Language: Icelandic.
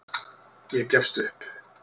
Ég gefst upp.